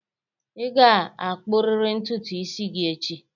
Ị ga-akpụrịrị ntutu isi gị echi!